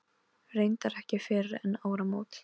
Reyndar ekki fyrr en eftir áramót.